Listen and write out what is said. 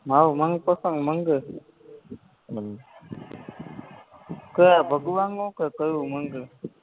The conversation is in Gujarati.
મારું મનપસંદ મંદિર હમ કયા ભગવાનનું કે કયું મંદિર